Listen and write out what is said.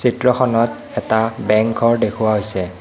চিত্ৰখণত এটা বেংক ঘৰ দেখুওৱা হৈছে।